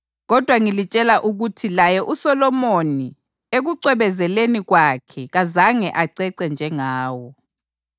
Kodwa ngilitshela ukuthi laye uSolomoni ekucwebezeleni kwakhe kazange acece njengawo.